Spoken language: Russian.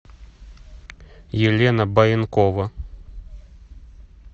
елена баенкова